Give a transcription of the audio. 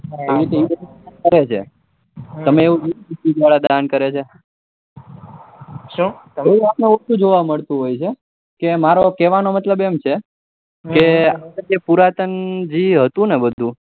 કરે છે તમે એવું કીધું કે દાન કરે છે જોવા મળતું હૉય છે કે મારો કેવાનો મતલબ એમ છે કે જે પુરાતન જે હતું ને બધું